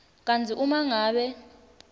kantsi uma ngabe